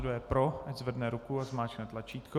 Kdo je pro, ať zvedne ruku a zmáčkne tlačítko.